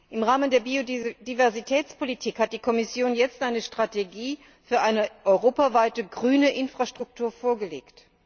Im Rahmen der Biodiversitätspolitik hat die Kommission jetzt eine Strategie für eine europaweite grüne Infrastruktur vorgelegt.